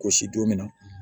Gosi don min na